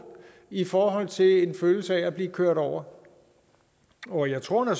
i forhold til en følelse af at blive kørt over over jeg tror at